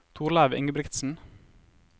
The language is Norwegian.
Torleiv Ingebrigtsen